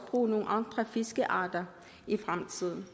bruge nogle andre fiskearter i fremtiden